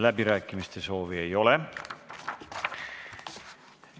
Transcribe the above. Läbirääkimiste soovi ei ole.